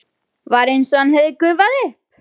Var einsog hann hefði gufað upp.